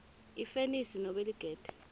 ifenisi nobe ligede